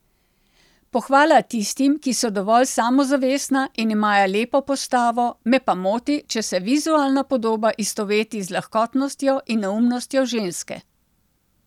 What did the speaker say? Pohvala tistim, ki so dovolj samozavestna in imajo lepo postavo, me pa moti, če se vizualna podoba istoveti z lahkotnostjo in neumnostjo ženske.